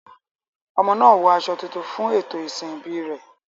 Ọmọ náà wọ aṣọ tuntun fún ètò ìsìn ìbí rẹ̀.